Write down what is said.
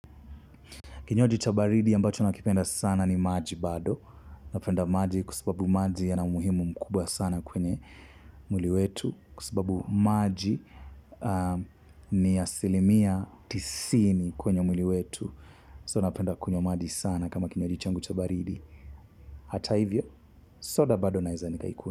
Kinywaji cha baridi ambacho nakipenda sana ni maji bado. Napenda maji kwa sababu maji yana umuhimu mkubwa sana kwenye mwili wetu. Kwa sababu maji ni asilimia tisini kwenye mwili wetu. So napenda kunywa maji sana kama kinywaji changu cha baridi. Hata hivyo, soda bado naeza nikaikunywa.